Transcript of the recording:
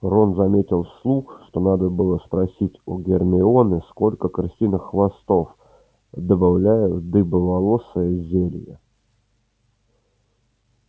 рон заметил вслух что надо было спросить у гермионы сколько крысиных хвостов добавляют в дыбоволосое зелье